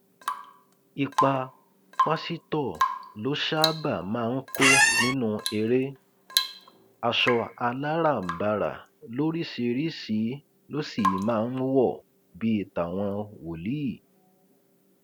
ipa pásítọ ló ṣáàbà máa ń kó nínú eré aṣọ aláràbarà lóríṣìíríṣìí ló sì máa ń wọ bíi tàwọn wòlíì